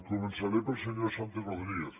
començaré pel senyor santi rodríguez